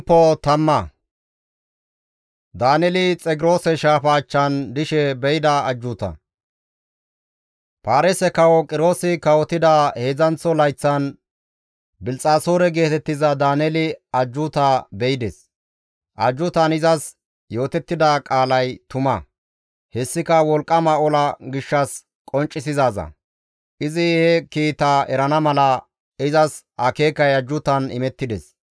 Paarise kawo Qiroosi kawotida heedzdzanththo layththan Bilxxasoore geetettiza Daaneeli ajjuuta be7ides; ajjuutan izas yootettida qaalay tuma; hessika wolqqama ola gishshas qonccisizaaza; izi he kiitaa erana mala izas akeekay ajjuutan imettides.